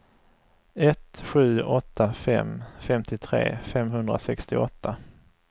ett sju åtta fem femtiotre femhundrasextioåtta